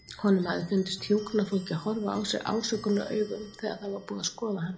Honum hafði fundist hjúkrunarfólkið horfa á sig ásökunaraugum þegar það var búið að skoða hann.